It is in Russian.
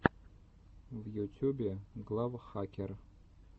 в ютюбе глав хакер